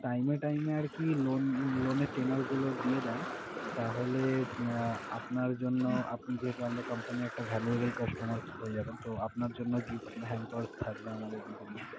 Time এ time এ আরকি loan~loan এর tanure গুলো দিয়ে দেন তাহলে আহ আপনার জন্য আপনি যেহেতু আমাদের company একটা valuable customer হয়ে যাবেন তো আপনার জন্য gift hampers থাকবে আমাদের বিভিন্ন,